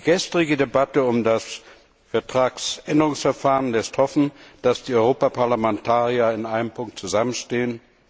Die gestrige Debatte um das Vertragsänderungsverfahren lässt hoffen, dass die Europaparlamentarier in einem Punkt zusammenstehen.